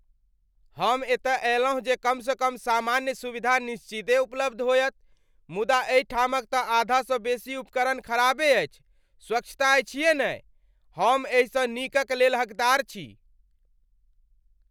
"हम एतय अयलहुँ जे कम सँ कम सामान्य सुविधा निश्चिते उपलब्ध होयत मुदा एहिठामक तँ आधासँ बेसी उपकरण खराबे अछि, स्वच्छता अछिहे नहि। हम एहि सँ नीक क लेल हकदार छी।"